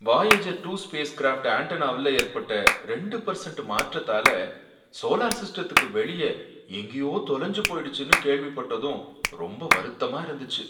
Voyager two spacecraft ஆண்டெனாவுல ஏற்பட்ட ரெண்டு பர்சென்ட் மாற்றத்தால சோலார் சிஸ்டத்துக்கு வெளியே எங்கேயோ தொலைஞ்சி போய்டுச்சுன்னு கேள்விப்பட்டதும் ரொம்ப வருத்தமா இருந்துச்சி.